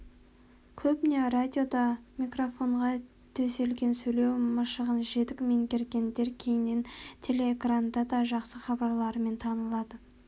көбіне радиода микрофонға төселген сөйлеу машығын жетік меңгергендер кейіннен телеэкранда да жақсы хабарларымен танылады